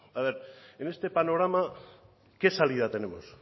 en este panorama qué salida tenemos